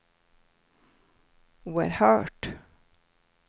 oerhört